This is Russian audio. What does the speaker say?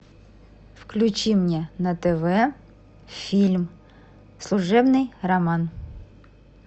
включи мне на тв фильм служебный роман